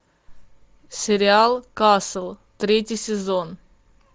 сериал касл третий сезон